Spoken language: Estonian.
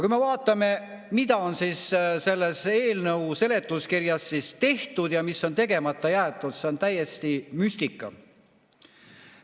Kui me vaatame, mida on selles eelnõu seletuskirjas tehtud ja mis on tegemata jäetud, siis see on täiesti müstika.